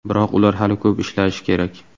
Biroq ular hali ko‘p ishlashi kerak.